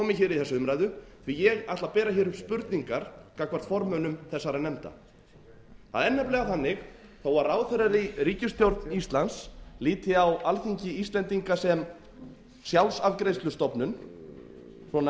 í þessa umræðu því að ég ætla að bera hér upp spurningar gagnvart formönnum þessara nefnda það er nefnilega þannig að þó að ráðherrar í ríkisstjórn íslands líti á alþingi íslendinga sem sjálfsafgreiðslustofnun